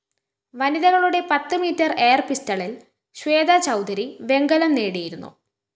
വനിതകളുടെ പത്ത് മീറ്റർ എയര്‍പിസ്റ്റളില്‍ ശ്വേത ചൗധരി വെങ്കലം നേടിയിരുന്നു